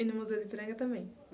E no Museu do Ipiranga também?